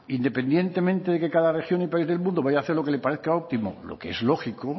independientemente de que cada región y país del mundo vaya a hacer lo que le parezca óptimo lo que es lógico